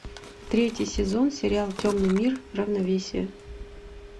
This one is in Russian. третий сезон сериал темный мир равновесие